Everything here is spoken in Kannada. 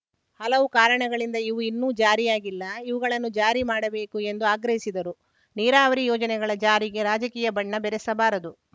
ಹಲವು ಕಾರಣಗಳಿಂದ ಇವು ಇನ್ನು ಜಾರಿಯಾಗಿಲ್ಲ ಇವುಗಳನ್ನು ಜಾರಿ ಮಾಡಬೇಕು ಎಂದು ಆಗ್ರಹಿಸಿದರು ನೀರಾವರಿ ಯೋಜನೆಗಳ ಜಾರಿಗೆ ರಾಜಕೀಯ ಬಣ್ಣ ಬೆರೆಸಬಾರದು